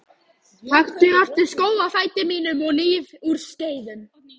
Taktu aftur skó af fæti mínum og hníf úr skeiðum.